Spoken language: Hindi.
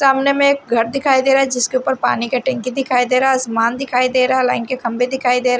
सामने में एक घर दिखाई दे रहा है जिसके ऊपर पानी का टंकी दिखाई दे रहा आसमान दिखाई दे रहा है लाईन के खंभे दिखाई दे रहे --